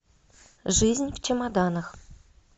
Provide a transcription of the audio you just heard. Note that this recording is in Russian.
жизнь в чемоданах